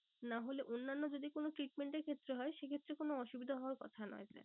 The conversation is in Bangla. নাহলে অন্যান্য যদি কোনো treatment এর ক্ষেত্রে হয় সে ক্ষেত্রে কোনো অসুবিধা হওয়ার কথা নয় sir